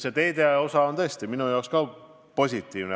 See teede osa on tõesti ka minu jaoks positiivne.